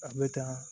A bɛ taa